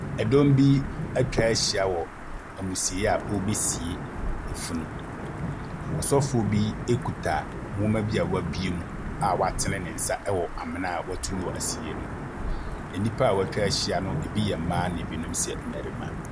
Ɛdɔm bi ɛtwa hyia wɔ ɛmusieyɛ a ɔrebesie funu. Ɔsɔfo bi ekuta nnwoma bi a wɛbue mu a wɔatene ne nsa ɛwɔ amena wɛtu wɔ ɛsieyɛ hɔ. Nnipa wɔatwahyia no ebi yɛ mmaa na ebinom yɛ mmarima.